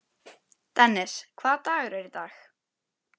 Dennis, hvaða dagur er í dag?